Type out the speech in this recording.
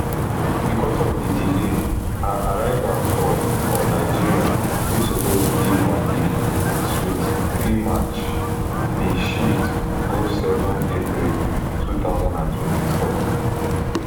becos of di delay her arrival for for nigeria wey suppose be on di twenty-three march bin shift go seven april two thousand and twenty-four